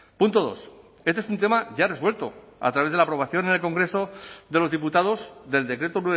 punto dos este es un tema ya resuelto a través de la aprobación en el congreso de los diputados del decreto